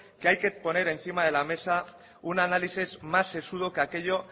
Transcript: que hay que poner encima de la mesa un análisis más sesudo de aquello